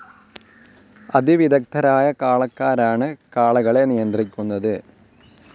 അതിവിദഗ്ദ്ധരായ കാളക്കാരാണ് കാളകളെ നിയന്ത്രിക്കുന്നത്.